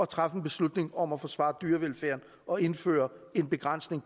træffe en beslutning om at forsvare dyrevelfærden og indføre en begrænsning